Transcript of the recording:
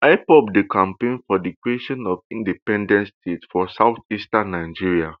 ipob dey campaign for di creation of independent state for southeastern nigeria